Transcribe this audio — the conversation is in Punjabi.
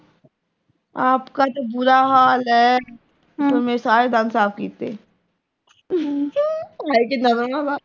ਆਪ ਕਾ ਤੋ ਬੁਰਾ ਹਾਲ ਹੈ। ਫਿਰ ਮੇਰੇ ਸਾਰੇ ਦੰਦ ਸਾਫ਼ ਕੀਤੇ ਹਾਏ ਕਿੰਨਾ ਮਜ਼ਾ ਆਉਂਦਾ।